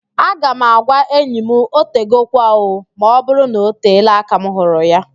Aga m agwa enyi m, "otegokwa ooo", ma ọbụrụ na-oteela aka m hụrụ ya